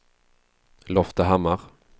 Loftahammar